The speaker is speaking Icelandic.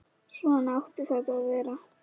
Svona átti þetta að vera.